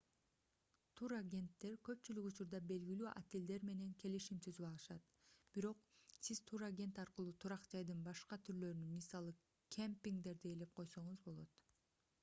турагенттер көпчүлүк учурда белгилүү отелдер менен келишим түзүп алышат бирок сиз турагент аркылуу турак жайдын башка түрлөрүн мисалы кемпингдерди ээлеп койсоңуз болот